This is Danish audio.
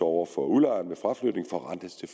over for udlejeren ved fraflytning forrentes til